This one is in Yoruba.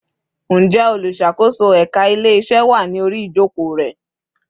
Ǹjẹ́ olùṣàkóso ẹka ile-iṣe wá ní orí ijoko re